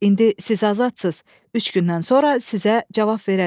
İndi siz azadsız, üç gündən sonra sizə cavab verərik.